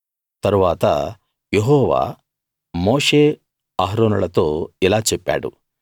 తరువాత యెహోవా మోషే అహరోనులతో ఇలా చెప్పాడు